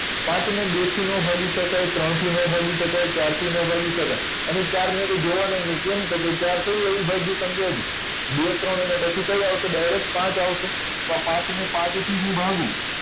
પાંચ ને બે થી નો ભાગી શકાય ત્રણ થી નો ભાગી શકાય ત્રણ થી નો ભાગી શકાય અને થી એ નો ભાગી શકાય અને ચાર ને તો જોવા નાં ય નહિ કેમ તો કે ચાર એ કોઈ અવિભાજ્ય સંખ્યા છે બે ત્રણ અને પછી કઈ આવશે direct પાંચ ને પાંચ થી હું ભાગું